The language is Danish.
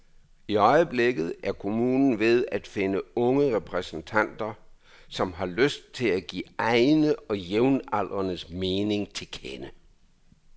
I øjeblikket er kommunen ved at finde unge repræsentanter, som har lyst til at give egne og jævnaldrendes mening til kende.